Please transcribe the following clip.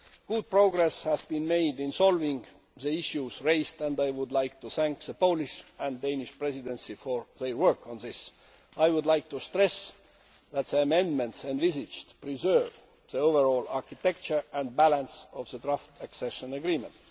Good progress has been made in solving the issues raised and I would like to thank the Polish and Danish Presidency for their work on this. I would like to stress that the amendments envisaged preserve the overall architecture and balance of the draft accession agreement.